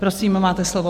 Prosím, máte slovo.